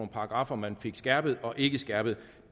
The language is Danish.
paragraffer man fik skærpet og ikke skærpet